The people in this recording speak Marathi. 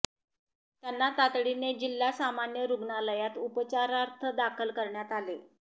त्यांना तातडीने जिल्हा सामान्य रुग्णालयात उपचारार्थ दाखल करण्यात आले